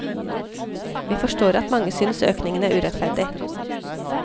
Vi forstår at mange synes økningen er urettferdig.